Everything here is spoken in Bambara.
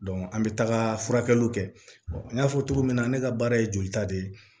an bɛ taga furakɛliw kɛ an y'a fɔ cogo min na ne ka baara ye jolita de ye